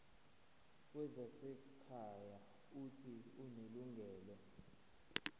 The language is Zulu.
wezasekhaya uuthi unelungelo